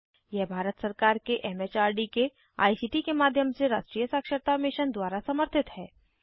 यह भारत सरकार के एमएचआरडी के आईसीटी के माध्यम से राष्ट्रीय साक्षरता मिशन द्वारा समर्थित है